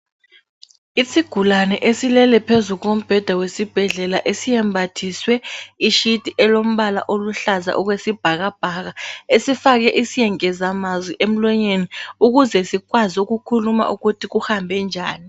Isigulane esilele phezu kombheda wesibhedlela esiyembathiswe ishiti elombala oluhlaza okwesibhakabhaka, esifake isengezamazwi emlonyeni ukuze sikwazi ukukhuluma ukuthi kuhambe njani.